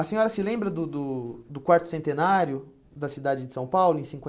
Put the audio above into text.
A senhora se lembra do do do quarto centenário da cidade de São Paulo, em